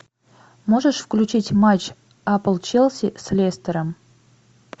можешь включить матч апл челси с лестером